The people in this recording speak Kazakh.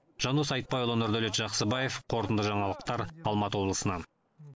жандос айтбайұлы нұрдәулет жақсыбаев қорытынды жаңалықтар алматы облысынан